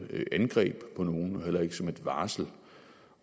angreb på nogen og heller ikke som et varsel